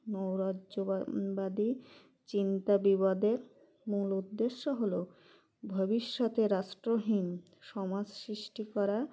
নৈরাজ্যবা বাদী চিন্তা বিবাদের মূল উদ্দেশ্য হল ভবিষ্যতে রাষ্ট্রহীন সমাজ সৃষ্টি করা